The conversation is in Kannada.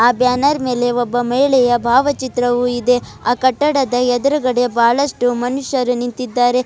ಆ ಬ್ಯಾನರ್ ಮೇಲೆ ಒಬ್ಬ ಮಹಿಳೆಯ ಭಾವಚಿತ್ರವು ಇದೆ ಆ ಕಟ್ಟಡದ ಎದುರಗಡೆ ಬಹಳಷ್ಟು ಮನುಷ್ಯರು ನಿಂತಿದ್ದಾರೆ.